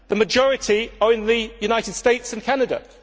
The majority are in the United States and Canada.